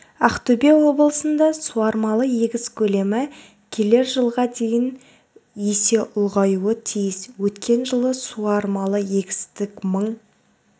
ақтөбе облысында суармалы егіс көлемі келер жылға дейін есе ұлғаюы тиіс өткен жылы суармалы егістік мың